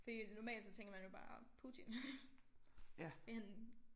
Fordi at normalt så tænker man jo bare Putin en